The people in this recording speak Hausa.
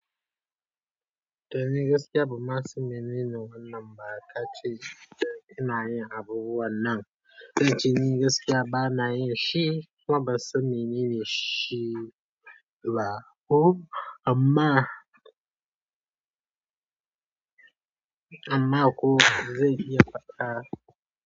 To ni gaskiya ba ma san menene wannan ba ka ce ina yin abubuwan nan, don ji ni gaskiya ba na yi shi. Kuma ba san menene shi ba ko amma, amma ko zan iya baɗa.